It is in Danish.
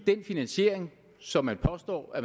den finansiering som man påstår at